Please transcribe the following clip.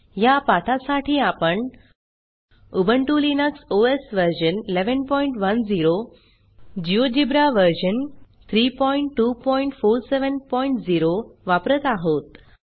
ह्या पाठासाठी आपण Ubuntu Linux OS version 1110 GeoGebra version 32470 वापरत आहोत